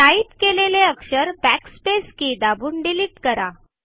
type केलेले अक्षर backspace के दाबून डिलीट करा